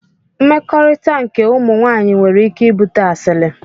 Mmekọrit nke ụmụ nwanyi nwere ike ibute asili.